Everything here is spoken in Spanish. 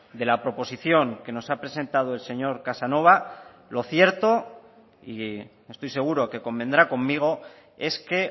de la proposición que nos ha presentado el señor casanova lo cierto y estoy seguro que convendrá conmigo es que